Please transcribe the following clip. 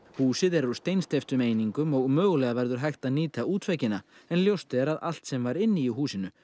húsið er úr steinsteyptum einingum og mögulega verður hægt að nýta en ljóst er að allt sem var inni í húsinu